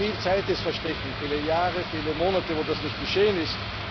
Viel Zeit ist verstrichen, viele Jahre, viele Monate, in denen das nicht geschehen ist.